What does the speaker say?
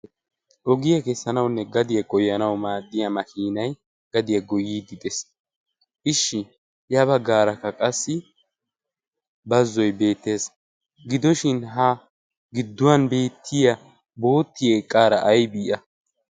ogiyaa kessanaunne gadiyaa goyanawu maadtiya makiinay gadiyaa goyiiddi dees. ishshi ya baggaarakka qassi bazzoy beettees. gidoshin ha gidduwan beettiya boottiya eqqaara aybii a?